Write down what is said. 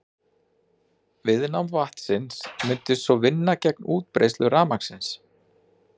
Viðnám vatnsins mundi svo vinna gegn útbreiðslu rafmagnsins.